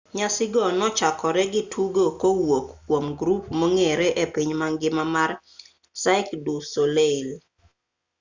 nyasi go ne ochakore gi tugo kowuok kwom grup mong'ere e piny mangima mar cirque du soleil